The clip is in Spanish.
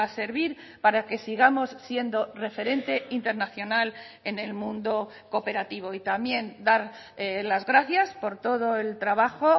servir para que sigamos siendo referente internacional en el mundo cooperativo y también dar las gracias por todo el trabajo